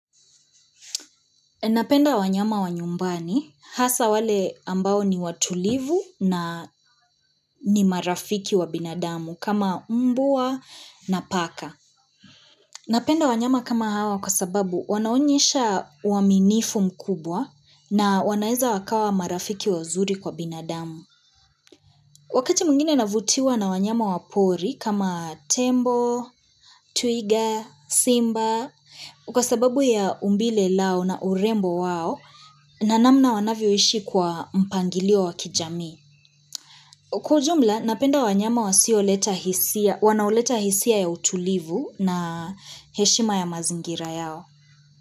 Napenda wanyama wa nyumbani, hasa wale ambao ni watulivu na ni marafiki wa binadamu kama mbwa na paka. Napenda wanyama kama hawa kwa sababu wanaonyesha uaminifu mkubwa na wanaeza wakawa marafiki wa zuri kwa binadamu. Wakati mwingine navutiwa na wanyama wapori kama tembo, twigga, simba. Kwa sababu ya umbile lao na urembo wao, nanamna wanavyoishi kwa mpangilio wa kijamii. Kwa ujumla, napenda wanyama wasioleta hisia, wanoleta hisia ya utulivu na heshima ya mazingira yao.